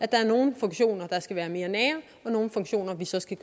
der nogle funktioner der skal være mere nære og nogle funktioner vi så skal